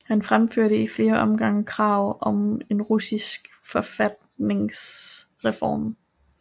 Han fremførte i flere omgange krav om en russisk forfatningsreform